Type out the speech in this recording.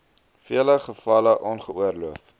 vele gevalle ongeoorloof